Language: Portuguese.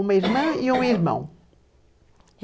uma irmã e um irmão.